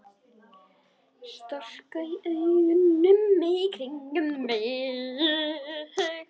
Skotra augunum í kringum mig.